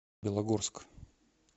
белогорск